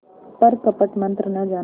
पर कपट मन्त्र न जाना